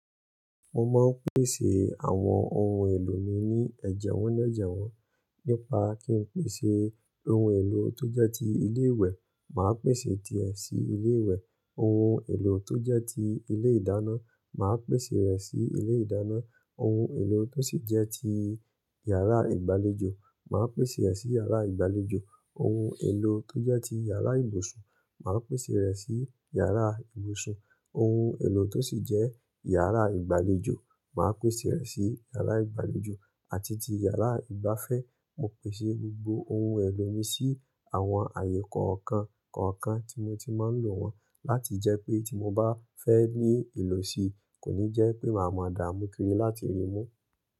Mo máa ń pèsè àwọn ohun èlò mi ní ẹ̀jẹwọ́́n ní ẹ̀jẹwọ́́n. Nípa kí n pèsè ohun èlò tó jẹ́ ti ilé ìwẹ̀, màá pèsè ti è sí ilé ìwẹ̀. Ohun èlò tó jẹ́ ti ilé ìdáná, màá pèsè rẹ̀ sí ilé ìdáná. Ohun èlò tó sì jẹ́ ti yàrá ìgbàlejò, màá pèsè rẹ̀ sí yàrá ìgbàlejò. Ohun èlò tó jẹ́ ti yàrá ìbùsùn, màá pèsè rẹ̀ sí yàrá ìbùsùn. Ohun èlò tó sì jẹ́ yàrá ìgbàlejò, màá pèsè rẹ̀ sí yàrá ìgbàlejò àti ti yàrá ìgbafẹ́. Mo pèsè gbogbo ohun èlò mi sí àwọn ààyè kọ̀ọ̀kan kọ̀ọ̀kan tí mo ti máa ń lò wọ́n láti jẹ́ pé tí mo bá fẹ́ ní ìlò si, kò ní jẹ́ pé màá mọ dààmú kiri láti rí mú.